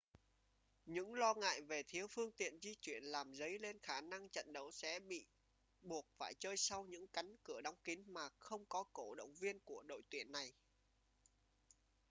những lo ngại về thiếu phương tiện di chuyển làm dấy lên khả năng trận đấu sẽ bị buộc phải chơi sau những cánh cửa đóng kín mà không có cổ động viên của đội tuyển này